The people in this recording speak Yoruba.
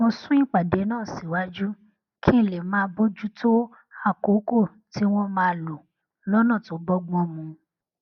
mo sún ìpàdé náà síwájú kí n lè máa bójú tó àkókò tí wón máa lò lónà tó bógbón mu